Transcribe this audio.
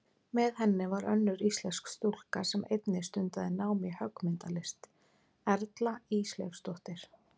Með henni var önnur íslensk stúlka sem einnig stundaði nám í höggmyndalist, Erla Ísleifsdóttir.